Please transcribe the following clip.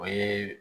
O ye